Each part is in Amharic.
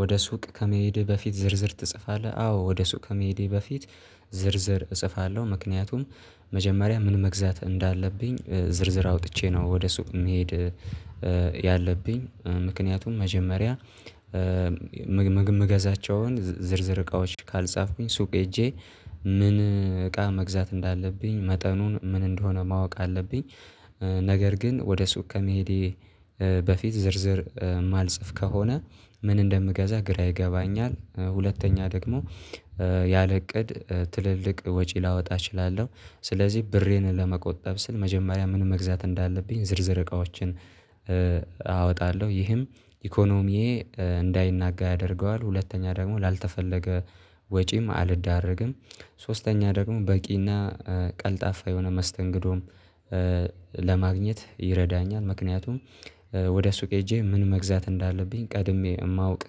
ወደ ሱቅ ከመሄድህ በፊት ዝርዝር ትጽፋለህ አዎ ወደ ሱቅ ከመሄዴ በፊት ዝርዝር እጽፋለሁ። ምክንያቱም መጀመሪያ ምን መግዛት እንዳለብኝ ዝርዝር አውጥቼ ነው ወደ ሱቅ የሚሄድ። ያለብኝ ምክንያቱም መጀመሪያ ምገዛቸውን ዝርዝር እቃዎች ካልጻፍኩኝ ሱቅ ሄጄ ምን እቃ መግዛት እንዳለብኝ መጠኑን ምን እንደሆነ ማወቅ አለብኝ። ነገር ግን ወደ ሱቅ ከመሄዴ በፊት ዝርዝር ማልጽፍ ከሆነ ምን እንደምገዛ ግራ ይገባኛል። ሁለተኛ ደግሞ ያለ እቅድ ትልልቅ ወጪ ላወጣ እችላለሁ። ስለዚህ ብሬን ለመቆጠብ ስል መጀመሪያ ምን መግዛት እንዳለብኝ ዝርዝር እቃዎችን አወጣለሁ ይህም ኢኮኖሚዬ እንዳይናጋ ያደርገዋል። ሁለተኛ ደግሞ ላልተፈለገ ወጪም አልዳረግም ሶስተኛ ደግሞ በቂና ቀልጣፋ የሆነ መስተንግዶም ለማግኘት ይረዳኛል። ምክንያቱም ወደ ሱቅ ሄጄ ምን መግዛት እንዳለብኝ ቀድሜ የማውቅ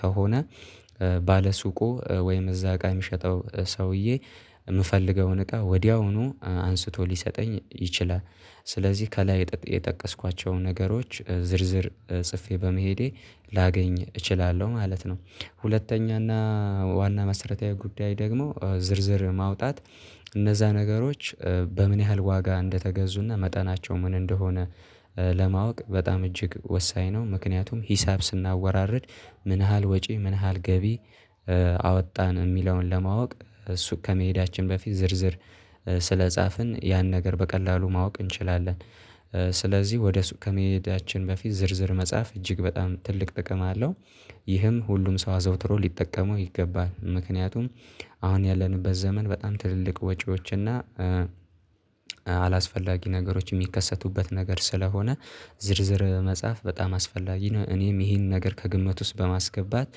ከሆነ ባለ ሱቁ ወይም እዛ እቃ የሚሸጠው ሰውዬ የምፈልገውን እቃ ወዲያውኑ አንስቶ ሊሰጠኝ ይችላል። ስለዚህ ከላይ የጠቀስኳቸውን ነገሮች ዝርዝር ጽፌ በመሄዴ ላገኝ እችላለሁ ማለት ነው። ሁለተኛና ዋና መሰረታዊ ጉዳይ ደግሞ ዝርዝር ማውጣት እነዛ ነገሮች በምን ያህል ዋጋ እንደተገዙና መጠናቸው ምን እንደሆነ ለማወቅ በጣም እጅግ ወሳኝ ነው። ምክንያቱም ሂሳብ ስናወራርድ ምን ያህል ወጪ ምን ያህል ገቢ አወጣን የሚለውን ለማወቅ እሱ ከመሄዳችን በፊት ዝርዝር ስለጻፍን ያን ነገር በቀላሉ ማወቅ እንችላለን። ስለዚህ ወደ ሱቅ ከመሄዳችን በፊት ዝርዝር መጻፍ እጅግ በጣም ትልቅ ጥቅም አለው። ይህም ሁሉም ሰው አዘውትሮ ሊጠቀመው ይገባል ምክንያቱም አሁን ያለንበት ዘመን በጣም ትልልቅ ወጪዎችና አላስፈላጊ ነገሮች የሚከሰቱበት ነገር ስለሆነ ዝርዝር መጻፍ በጣም አስፈላጊ ነው። እኔም ይሄን ነገር ከግምት ውስጥ በማስገባት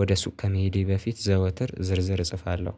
ወደ ሱቅ ከመሄዴ በፊት ዘወትር ዝርዝር እጽፋለሁ